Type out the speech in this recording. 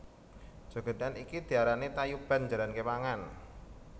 Jogèdan iki diarani tayuban jaran képangan